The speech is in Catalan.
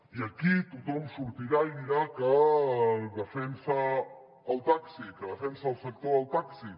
i aquí tothom sortirà i dirà que defensa el taxi que defensa el sector del taxi